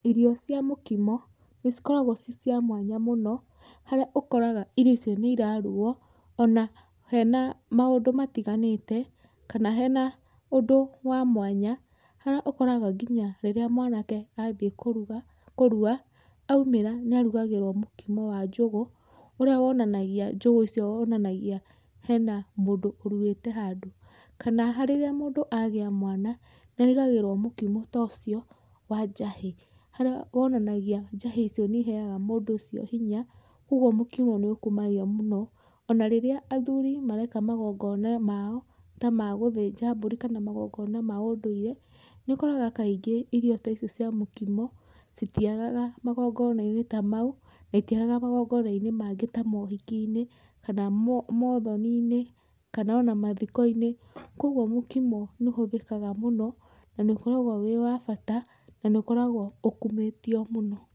Irio cia mũkimo nĩ cikoraguo ciĩcia mwanya mũno harĩa ũkoraga irio icio nĩ iraruguo ona hena maũndũ matiganĩte kana hena ũndũ wa mwanya harĩa ũkoraga nginya rĩrĩa mwanake athiĩ kũrua, oimĩra nĩarugagĩrũo mũkimo wa njũgũ ũrĩa wonanagia njũgũ icio wonanagia hena mũndũ ũruĩte handũ kana rĩrĩa mũndũ agĩa mwana nĩ arugagĩrũo mũkimo ta ũcio wa njahĩ, harĩa wonanagia njahĩ icio nĩ iheaga mũndũ ũcio hinya. Kwoguo mũkimo nĩ ũkumagio mũno ona rĩrĩa athuri mareka magongona mao ta ma gũthĩnja mbũri kana magongono ma ũndũire nĩ ũkoraga kaingĩ irio ta icio cia mũkimo citiagaga magongonainĩ ta mau na itiagaga magongonainĩ mangĩ ta moũhikiinĩ kana moũthoniinĩ kana ona mathikoinĩ. Kwoguo mũkimo nĩ ũhũthĩkaga mũno na nĩ ũkoragwo wĩ wa bata na nĩ ũkoraguo ũkumĩtio mũno.